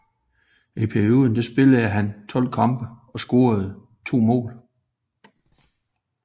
I perioden spillede han 12 kampe og scorede 2 mål